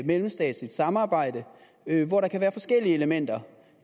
mellemstatsligt samarbejde hvor der kan være forskellige elementer